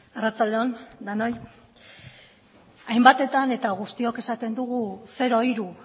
arratsalde on denoi hainbatetan eta guztiok esaten dugu zero hiru